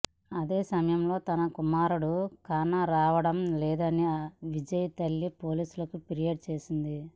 అదేసమయంలో తన కుమారుడు కానరావడం లేదని విజయ్ తల్లి పోలీసులకు ఫిర్యాదు చేసింది